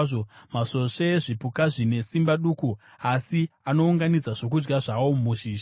Masvosve zvipuka zvine simba duku asi anounganidza zvokudya zvawo muzhizha: